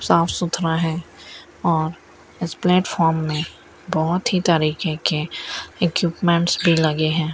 साफ सुथरा है और इस प्लेटफॉम में बहोत ही तरीके के इक्विपमेट्स भी लगे हैं।